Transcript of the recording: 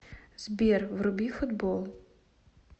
сбер вруби футбол